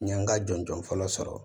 N ye n ka jɔn jɔn fɔlɔ sɔrɔ